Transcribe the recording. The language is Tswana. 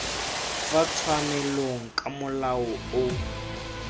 fa tshwanelong ka molao o